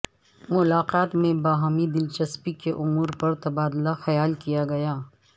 ملاقات میں باہمی دلچسپی کے امور پر تبادلہ خیال کیا گیا